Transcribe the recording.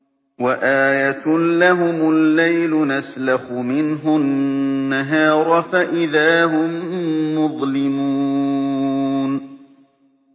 وَآيَةٌ لَّهُمُ اللَّيْلُ نَسْلَخُ مِنْهُ النَّهَارَ فَإِذَا هُم مُّظْلِمُونَ